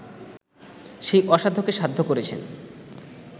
সেই অসাধ্যকে সাধ্য করেছেন